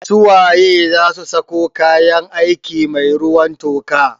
Su waye zasu sako kayan aiki mai ruwan toka?